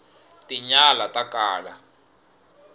tinyala ta kala